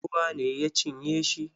Ruwa ne ya cinye shi.